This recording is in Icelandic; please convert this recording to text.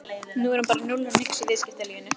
Nú er hann bara núll og nix í viðskiptalífinu!